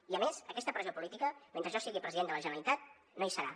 i a més aquesta pressió política mentre jo sigui president de la generalitat no hi serà